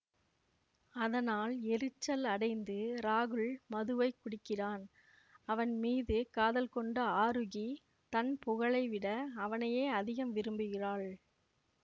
அதனால் எரிச்சல் அடைந்து ராகுல் மதுவை குடிக்கிறான் அவன் மீது காதல் கொண்ட ஆரூகி தன் புகழை விட அவனையே அதிகம் விரும்புகிறாள்